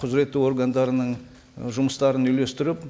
құзыретті органдарының і жұмыстарын үйлестіріп